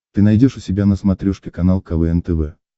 ты найдешь у себя на смотрешке канал квн тв